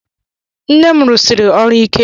Nne m rụsiri ọrụ ike.